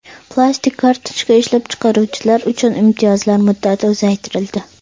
Plastik kartochka ishlab chiqaruvchilar uchun imtiyozlar muddati uzaytirildi.